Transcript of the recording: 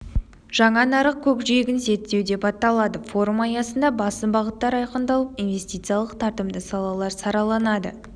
жаңа нарық көкжиегін зерттеу деп аталады форум аясында басым бағыттар айқындалып инвестициялық тартымды салалар сараланады